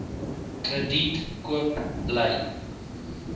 krediet koop bly